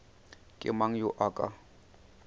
ke mang yo a ka